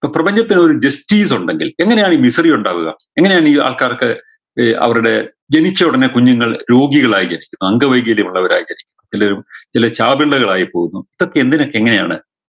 പ്രപഞ്ചത്തിൽ ഒരു ഉണ്ടെങ്കിൽ എങ്ങനെയാണ് വിപണി ഉണ്ടാവുക എങ്ങനെയാണ് ഈ ആൾക്കാർക്ക് ഏർ അവരുടെ ജനിച്ചയുടനെ കുഞ്ഞുങ്ങൾ രോഗികളായി ജനിക്കുന്നു അംഗവൈകല്യമുള്ളവരായി ജനിക്കുന്നു ചിലര് ചില ചാപിള്ളകളായി പോവുന്നു ഇതൊക്കെ എന്തിനൊക്കെ എങ്ങനെയാണ്